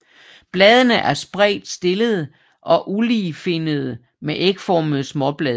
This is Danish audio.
Bladene er spredt stillede og uligefinnede med ægformede småblade